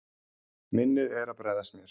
Minnið er að bregðast mér.